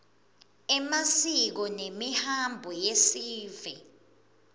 emasiko nemihambo yesive